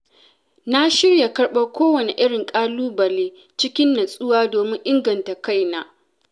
Na shirya karɓar kowane irin ƙalubale cikin nutsuwa domin inganta kaina.